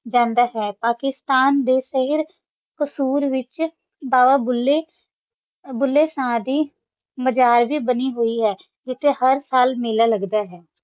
ਜਾਂਦਾ ਹੈ ਪਾਕਿਸਤਾਨ ਦਾ ਸ਼ਹਿਰ ਕ਼ਸੂਰ ਵਿਚ ਬਾਬਾ ਬੁੱਲੇ ਸ਼ਾਹ ਦੀ ਮਜ਼ਾਰ ਵੇ ਬਣੀ ਹੁਈ ਹੈ ਜਿੱਥੇ ਹਰ ਸਾਲ ਮੇਲਾ ਲੱਗਦਾ ਹੈ